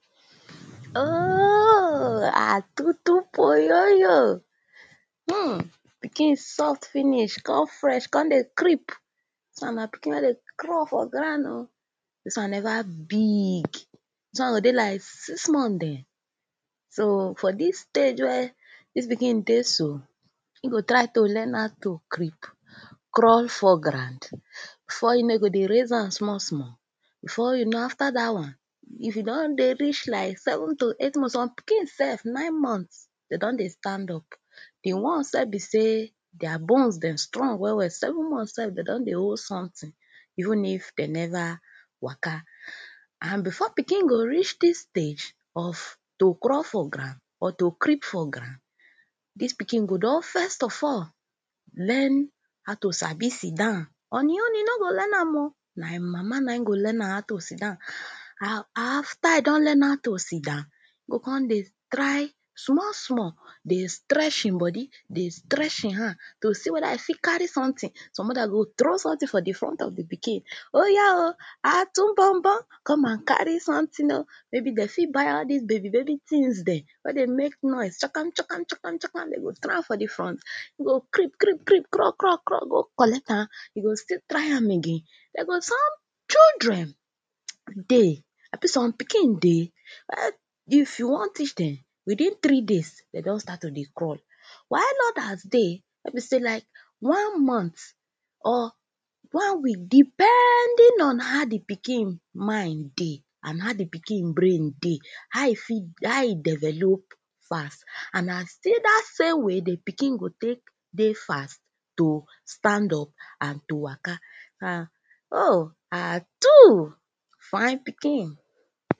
um atutu poyoyo, um pikin soft finish, come fresh, come dey creep, dis one na pikin wen dey crawl for ground oh, dis one never big, dis one go dey like six months dem. So for dis stage wey dis pikin dey so, e go try to learn how to creep, crawl for ground, before you kow e go come dey raise hand small small, before you know after dat one, if e don dey reach seven to eight months or some pikin sef nine months, dem don dey stand up, di ones wey be sey their bones strong well well seven months sef dem don dey hold something even if dem never waka and before pikin go reach dis stage of to crawl for ground or to creep for ground, dis pikin go don first of all learn how to sabi sit down. On e own e nor go learn am oh, na im mama na im go learn am how to sit down, after e don learn how to sit down, e go come dey small small, dey to stretch im body, dey stretch im hand to see whether im go fit carry something, some mother go throw something for di front of pikin, oya oh, atumbobo come and carry something oh, maybe dem fit buy am all dis baby baby things dem wen dey make noise, chokom chokom chokom dem go throw am for di front, e go creep, creep, creep,, crawl crawl, crawl go collect am e go still try am again, dem go some children dey, abi some pikin dey um if you wan teach dem, within three days dem don start to dey crawl while odas dey wen be sey like one month or one week depending on how di pikin mind dey, and how di pikin brain dey and how e fit how e develop pass, and na still dat same week, di pikin go take dey fast, to stand up and to waka, and um, atu, fine pikin.